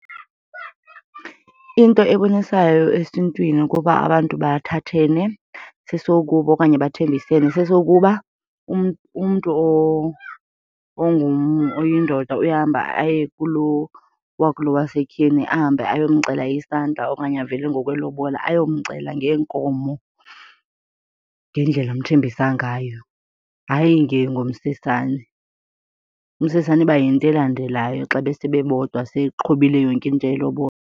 Into ebonisayo esintwini ukuba abantu bathathene sesokuba okanye bathembisene sesokuba umntu oyindoda uyahamba aye kulo wakulo wasetyhini ahambe ayomcela isandla okanye avele ngokwelobola, ayomcela ngeenkomo ngendlela amthembisa ngayo, hayi ngomsesane. Umsesane iba yinto elandelayo xa besebebodwa seqhubile yonke into yelobola.